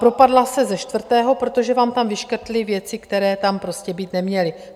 Propadla se ze čtvrtého, protože vám tam vyškrtli věci, které tam prostě být neměly.